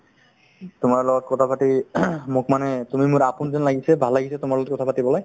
আৰু তোমাৰ লগত কথা পাতি ing মোক মানে তুমি মোৰ আপোন যেন লাগিছে ভাল লাগিছে তোমাৰ লগত কথা পাতি পেলাই